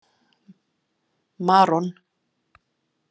Maron